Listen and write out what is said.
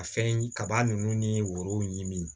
Ka fɛn kaba ninnu ni woro ɲimi